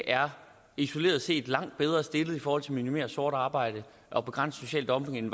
isoleret set er langt bedre stillet i forhold til at minimere sort arbejde og begrænse social dumping end